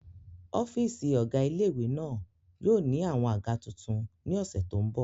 Ọ́fìsì ọ̀gá ilé-ìwé náà yóò ní àwọn àga tuntun ní ọ̀sẹ̀ tó n bọ̀